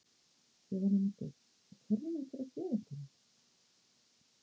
Jóhanna Margrét: Og ætlarðu að gefa einhverjum það?